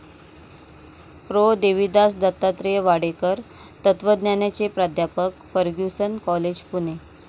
Pro. Devidas Dattatreya Wadekar, तत्वज्ञानाचे प्राध्यापक, Fergusson college, Pune